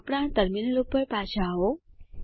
આપણા ટર્મિનલ ઉપર પાછા આવો